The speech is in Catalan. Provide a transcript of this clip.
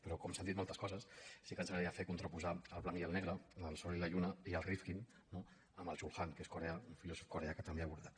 però com que s’han dit moltes coses sí que ens agra·daria fer contraposar el blanc i el negre el sol i la llu·na i el rifkin no amb el chul han que és coreà un filòsof coreà que també ha abordat